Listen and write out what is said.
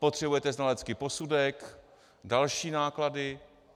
Potřebujete znalecký posudek, další náklady.